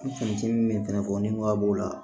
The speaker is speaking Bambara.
min fana fɔ ni nɔgɔ b'o la